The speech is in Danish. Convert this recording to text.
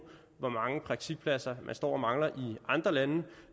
hvor mange praktikpladser man står og mangler i andre lande